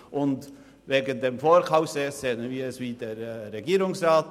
Betreffend das Vorkaufsrecht sehen wir es gleich wie der Regierungsrat.